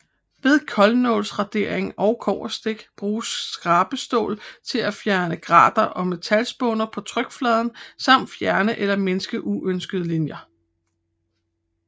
Ved koldnålsradering og kobberstik bruges skabestål til at fjerne grater og metalspåner på trykpladen samt fjerne eller mindske uønskede linjer